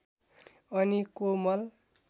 अनि कोमल